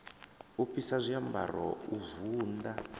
u fhisa zwiambaro u vunḓa